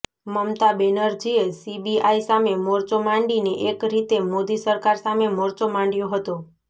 મમતા બેનરજીએ સીબીઆઈ સામે મોરચો માંડીને એક રીતે મોદી સરકાર સામે મોરચો માંડ્યો હતો